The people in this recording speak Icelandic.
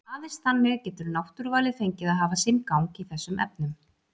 Aðeins þannig getur náttúruvalið fengið að hafa sinn gang í þessum efnum.